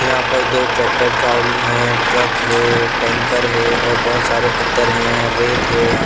यहाँ पर दो ट्रैक्टर ट्रावली हैं ट्रक हैं टैंकर हैं और बहुत सारे पत्थर हैं रेत हैं यहाँ--